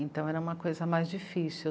Então era uma coisa mais difícil.